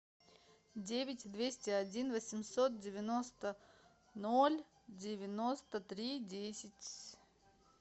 девять двести один восемьсот девяносто ноль девяносто три десять